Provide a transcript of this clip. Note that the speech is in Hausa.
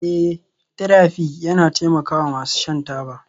Eh therapy yana taimakawa masu shan taba